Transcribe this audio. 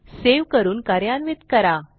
save करून कार्यान्वित करा